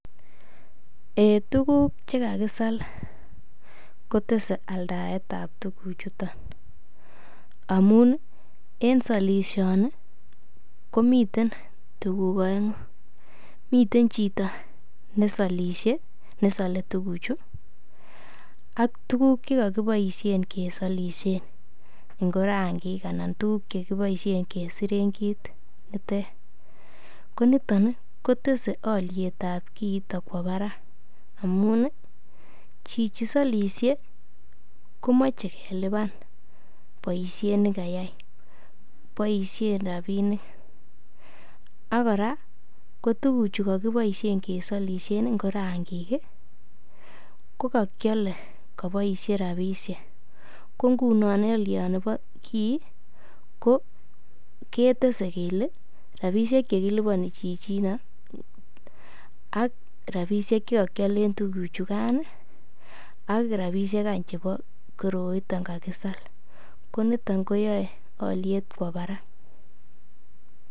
Eiy tuguk che kakisal kotese aldaet ab tuguchuto amun en solishoni komiten tuguk oeng'u, miten chito ne salishe, ne sole tuguchu ak tuguk ch ekogiboishen kesalishen ngo rangik anan tuguk che kiboisien kesiren kit ne ter koniton kotese olyet ab kiito kwo barak amun chichi solishe komache klipan boisiet ne kayai boisien rabinik ak kora ko tuguchu kogiboisien kesolishe, ngo rangik kokakiole koboishe rabishek ko ngunon olyonikobo kiy ketese kele rabishek che kiliponi chichino ak rabishek che kokiolen tuguchukan ak rabishek any cbebo koroito kakisal ko niton koyae olyet kwo barak.